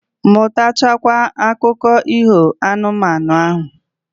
Mutacha kwa akụko iho anu, manu ahu